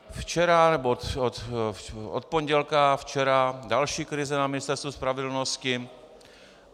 Včera, nebo od pondělka včera, další krize na Ministerstvu spravedlnosti.